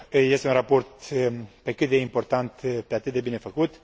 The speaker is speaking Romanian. Este un raport pe cât de important, pe atât de bine făcut.